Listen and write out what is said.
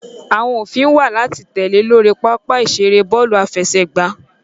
Awọn ofin wa lati tẹle lori papa-iṣere bọọlu afẹsẹgba